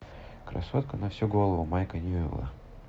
красотка на всю голову майка ньюэлла